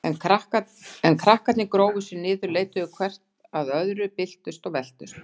En krakkarnir grófu sig niður, leituðu hvert að öðru, byltust og veltust.